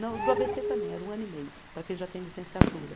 Não, do a bê cê também era um ano e meio, para quem já tem licenciatura.